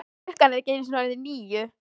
Klukkan er ekki einu sinni orðin níu.